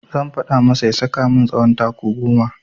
Zan faɗa masa ya saka min tsawon taku goma.